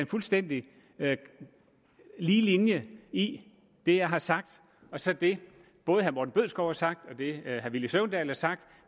fuldstændig lige linje i det jeg har sagt og så det både herre morten bødskov har sagt og det herre villy søvndal har sagt